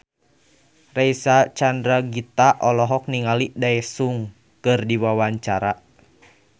Reysa Chandragitta olohok ningali Daesung keur diwawancara